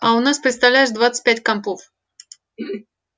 а у нас представляешь двадцать пять компов